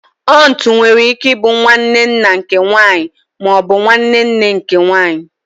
Ọntu nwere ike ịbụ nwanne nna nke nwanyị ma ọ bụ nwanne nne nke nwanyị